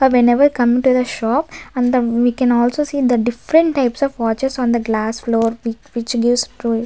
ah whenever come to the shop and the we can also see the different types of watches on the glass floor which gives --